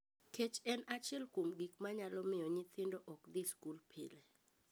Kech en achiel kuom gik ma nyalo miyo nyithindo ok dhi skul pile.